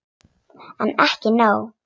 En ekki nóg.